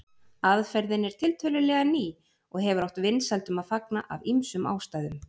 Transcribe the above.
Aðferðin er tiltölulega ný og hefur átt vinsældum að fagna af ýmsum ástæðum.